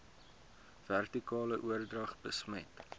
vertikale oordrag besmet